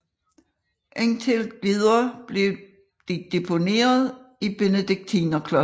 Indtil videre blev de deponeret i Benediktinerklosteret